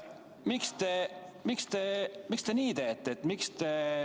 Miks te nii teete?